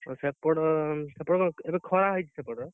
ଓଃ ସେପଟ ସେପଟ କଣ ଏବେ ଖରା ହେଇଛି ସେପଟ?